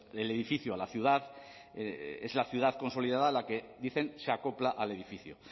el edificio a la ciudad es la ciudad consolidada la que dicen se acopla al edificio